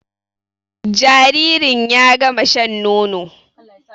Jaririn ya gama shan nono